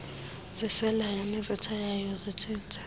ziselayo nezitshayayo zitshintshe